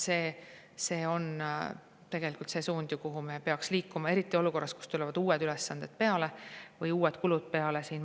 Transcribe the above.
See on tegelikult suund, kuhu me peaks liikuma, eriti olukorras, kus tulevad uued ülesanded või uued kulud peale.